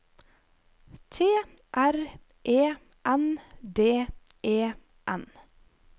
T R E N D E N